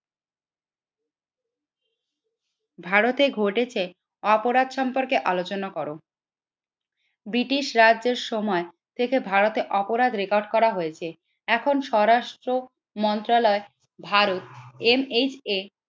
ভারতে ঘটেছে অপরাধ সম্পর্কে আলোচনা কর, ব্রিটিশ রাজ্যের সময় থেকে ভারতে অপরাধ রেকর্ড করা হয়েছে এখন স্বরাষ্ট্র মন্ত্রণালয় ভারত MHA